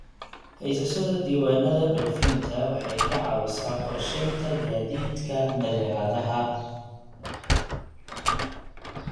Haysashada diiwaannada dhoofinta waxay ka caawisaa qorsheynta gaadiidka badeecadaha.